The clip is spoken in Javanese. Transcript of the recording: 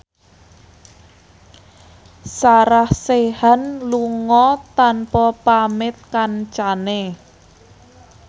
Sarah Sechan lunga tanpa pamit kancane